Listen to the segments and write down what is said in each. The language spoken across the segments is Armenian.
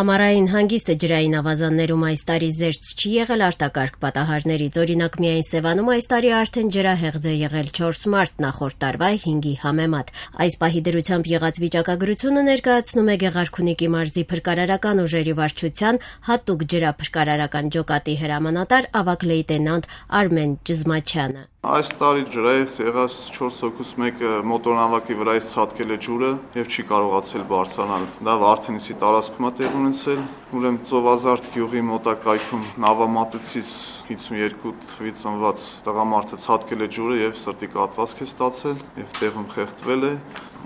Ամառային հանգիստը ջրային ավազաններում այս տարի զերծ չի եղել արտակարգ պատահարներից: Օրինակ` միայն Սեւանում այս տարի արդեն ջրահեղձ է եղել 4 մարդ` նախորդ տարվա 5-ի համեմատ: Այս պահի դրությամբ եղած վիճակագրությունը ներկայացնում է Գեղարքունիքի մարզի փրկարարական ուժերի վարչության հատուկ ջրափրկարարական ջոկատի հրամանատար ավագ լեյտենանտ Արմեն Ճզմաչյանը: «Այս տարի ջրահեղձ եղած 4 հոգուց մեկը մոտորանավակից ցատկել է ջուրը եւ չի կարողացել բարձրանալ: Դա Վարդենիսի տարածքում է տեղի ունեցել: Ծովազարդ գյուղի մոտակայքում 52 թվականին ծնված տղամարդը նավամատույցից ցատկել է ջուրը, սրտի կաթված է ստացել եւ տեղում խեղդվել: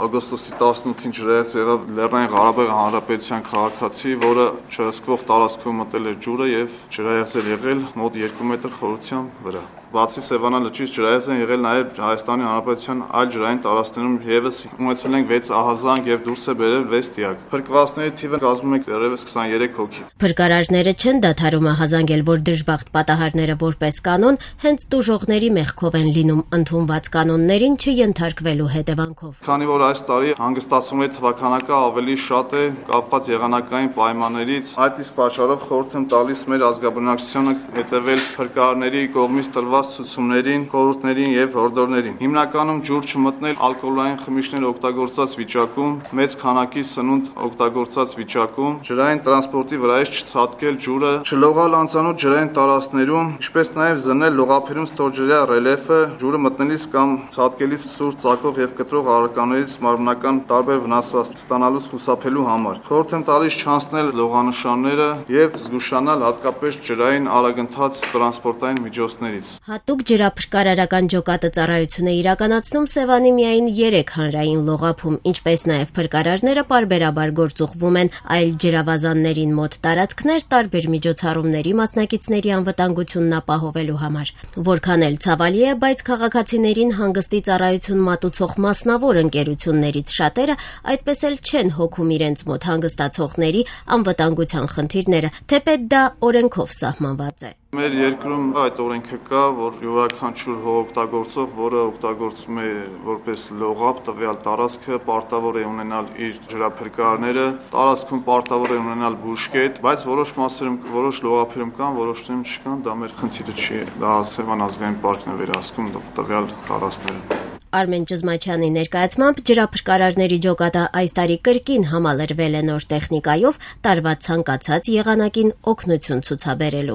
Օգոստոսի 18-ին ջրահեղձ եղավ ԼՂՀ քաղաքացի, որը չհսկվող տարածքում մտել էր ջուրը եւ ջրահեղձ էր եղել մոտ երկու մետր խորության վրա»: Բացի Սեւանա լճից ջրահեղձ են եղել նաեւ ՀՀ այլ ջրային տարածքներում: Ջրափրկարարներն ստացել են 6 ահազանգ, դուրս ենք բերել 6 դիակ: Փրկել են 23 մարդու կյանք։ Փրկարարները չեն դադարում ահազանգել, որ դժբախտ պատահարները, որպես կանոն, հենց տուժողների մեղքով են լինում` ընդունված կանոններին չենթարկվելու պատճառով։ «Քանի որ այս տարի հանգստացողների թիվը ավելի շատ է՝ կախված եղանային պայմաններից, այդ իսկ պատճառով խորհուրդ եմ տալիս մեր ազգաբնակչությանը հետեւել փրկարարների կողմից տրված ցուցումներին, խորհուրդներին եւ հորդորներին: Հիմնականում ջուր չմտնել ոգելից խմիչներ եւ շատ սնունդ օգտագործելուց հետո, ջրային տրանսպորտից չցատկել ջուրը, չլողալ անծանոթ ջրային տարածքներում, ինչպես նաեւ զննել լողափերում ստորջրյա ռելյեֆը` ջուրը մտնելիս կամ ցատկելիս սուր ծակող կամ կտրող առարկաներից մարմնական տարբեր վնասվածքներ ստանալուց խուսափելու համար: Խորհուրդ եմ տալիս չանցնել տեղադրված լողանշանները եւ զգուշանալ հատկապես ջրային արագընթաց տրանսպորտային միջոցներից»։ Հատուկ ջրափրկարարական ջոկատը ծառայություն է իրականացնում Սեւանի միայն երեք հանրային լողափում, ինչպես նաեւ փրկարարները պարբերաբար գործուղվում են այլ ջրավազաններին մոտ տարածքներ` տարբեր միջոցառումների մասնակիցների անվտանգությունն ապահովելու համար: Որքան էլ ցավալի է, բայց քաղաքացիներին հանգստի ծառայություն մատուցող մասնավոր ընկերություններից շատերը այդպես էլ չեն հոգում իրենց մոտ հանգստացողների անվտանգության խնդիրները` թեպետ դա օրենքով սահմանված է։ «Սեր երկրում այդ օրենքը կա, որ յուրաքանչյուր հողօգտագործող, որը օգտագործում է որպես լողափ տվյալ տարածքը, պարտավոր է ունենալ իր ջրափրկարարները, տարածքում պարտավոր է ունենալ բուժկետ, բայց որոշ լողափերում կան, որոշներում չկան: Դա մեր խնդիրը չէ, Սեւան ազգային պարկն է վերահսկում տվյալ տարածքները»։Արմեն Ճզմաչյանի ներկայացմամբ՝ ջրափրկարարների ջոկատը այս տարի կրկին համալրվել է նոր տեխնիկայով` տարվա ցանկացած եղանակին օգնություն ցուցաբերելու